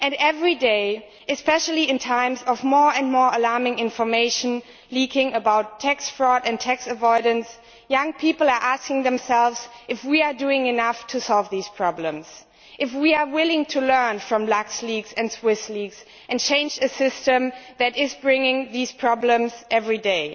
Every day, especially in times of more and more alarming information leaking about tax fraud and tax avoidance, young people are asking themselves if we are doing enough to solve these problems, if we are willing to learn from LuxLeaks and Swiss Leaks and change a system that brings these problems every day.